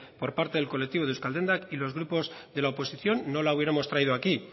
por parte del colectivo de euskaldendak y los grupos de la oposición no la hubiéramos traído aquí